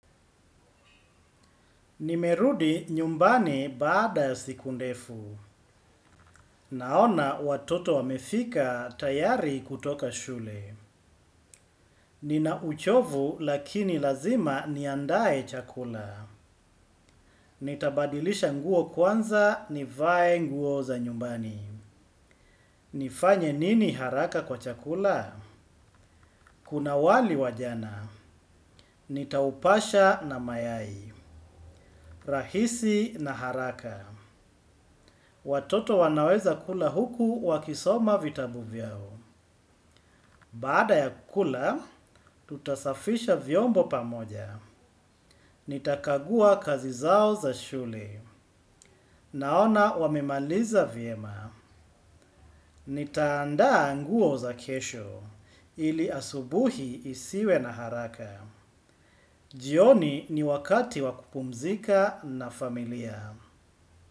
Nimerudi nyumbani baada ya siku ndefu. Naona watoto wamefika tayari kutoka shule. Nina uchovu lakini lazima niandae chakula. Nitabadilisha nguo kwanza nivae nguo za nyumbani. Nifanye nini haraka kwa chakula? Kuna wali wajana. Nitaupasha na mayai. Rahisi na haraka. Watoto wanaweza kula huku wakisoma vitabu vyao. Baada ya kukula, tutasafisha vyombo pamoja. Nitakagua kazi zao za shule. Naona wamemaliza vyema. Nitaandaa nguo za kesho. Ili asubuhi isiwe na haraka. Jioni ni wakati wakupumzika na familia.